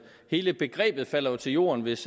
hele begrebet falder jo til jorden hvis